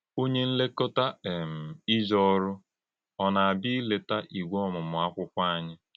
Ònye nlékọ́tà um íjè ọ̀rụ̀ ọ̀ na - àbịa ílèta Ìgwè Ọ́mụ́mụ̀ Àkwụ́kwọ́ ányị?